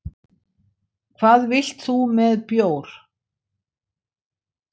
Hvað vilt þú með bjór?